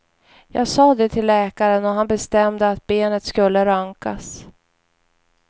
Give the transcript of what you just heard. Jag sa det till läkaren och han bestämde att benet skulle röntgas.